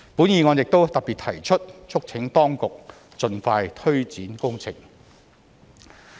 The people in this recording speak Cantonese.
議案亦特別提出促請當局盡快推展工程。